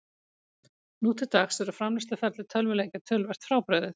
Nú til dags er framleiðsluferli tölvuleikja töluvert frábrugðið.